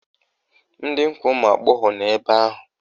Ndị nkwa ụmụagbọghọ nọ ebe ahụ!